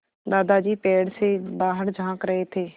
दादाजी पेड़ से बाहर झाँक रहे थे